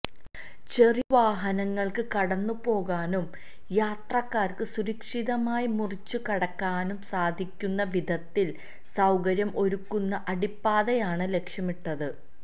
ചെറിയ വാഹനങ്ങള്ക്ക് കടന്നുപോകാനും യാത്രക്കാര്ക്ക് സുരക്ഷിതമായി മുറിച്ചുകടക്കാനും സാധിക്കുന്ന വിധത്തില് സൌകര്യം ഒരുക്കുന്ന അടിപ്പാതയാണ് ലക്ഷ്യമിട്ടത്